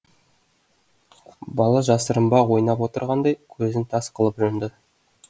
бала жасырынбақ ойнап отырғандай көзін тас қылып жұмды